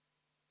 Mitu minutit?